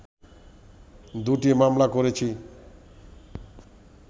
দুটি মামলা করেছি